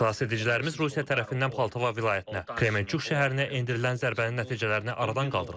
Xilasedicilərimiz Rusiya tərəfindən Poltava vilayətinə, Kremenchuk şəhərinə endirilən zərbənin nəticələrini aradan qaldırırlar.